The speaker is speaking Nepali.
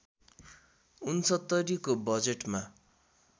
६९ को बजेटमा